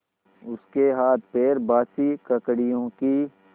उसके हाथपैर बासी ककड़ियों की